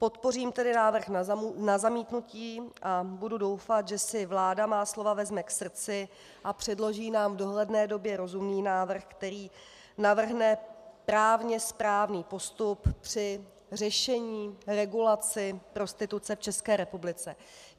Podpořím tedy návrh na zamítnutí a budou doufat, že si vláda má slova vezme k srdci a předloží nám v dohledné době rozumný návrh, který navrhne právně správný postup při řešení regulace prostituce v České republice.